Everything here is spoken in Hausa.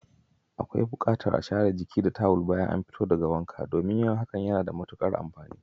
Akwai bukatar a share jiki da tawul bayan an fito daga wanka, domin yin hakan na da matukar amfani.